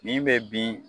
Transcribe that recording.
Min bɛ bin